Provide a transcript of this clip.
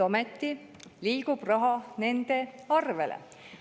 Ometi liigub raha nende arvele.